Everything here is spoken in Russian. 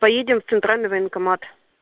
поедем в центральный военкомат